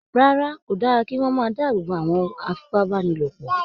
Rárá, kò dára kí wọ́n máa dáàbò bo àwọn afipábánilòpọ̀